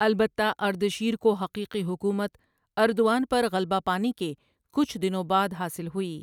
البتہ اردشیر کو حقیقی حکومت اردوان پر غلبہ پانے کے کچھ دنوں بعد حاصل ہوئی۔